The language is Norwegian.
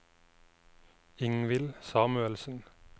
Ingvill Samuelsen